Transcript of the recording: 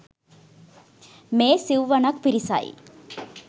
මේ සිව්වනක් පිරිසයි.